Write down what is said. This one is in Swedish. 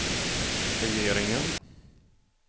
regeringen